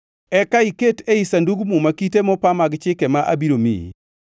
Eka iket ei Sandug Muma kite mopa mag chike ma abiro miyi.